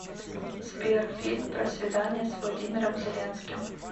сбер фильм про свидания с владимиром зеленским